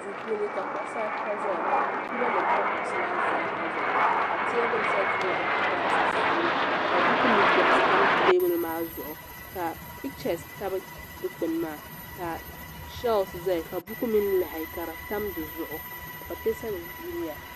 Duu puuni ka kuɣusaata zaya ka pilonim pa kuɣusi maa zaa zuɣu ka tɛɛbuli za duumaa sunsuuni ka buku mini bogsi tam tɛɛbuli maa zuɣu ka pichisi tabi dukpuni maa ka chiisi zaya ka buku mini lahi ka di tam di zuɣu ka pateesanima yiliya.